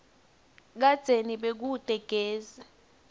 kadzeni bekute gesi